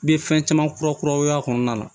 N ye fɛn caman kura kuraw y'a kɔnɔna na